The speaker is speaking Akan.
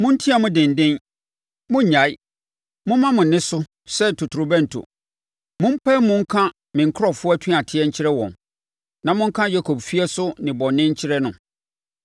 “Monteam denden, monnnyae. Momma mo nne so sɛ totorobɛnto. Mompae mu nka me nkurɔfoɔ atuateɛ nkyerɛ wɔn na monka Yakob efie nso nnebɔne nkyerɛ no.